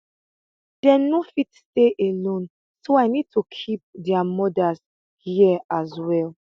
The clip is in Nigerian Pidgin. dey no fit stay alone so i need keep dia mothers hia as well